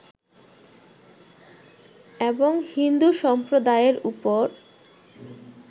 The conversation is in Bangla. এবং হিন্দু সম্প্রদায়ের ওপর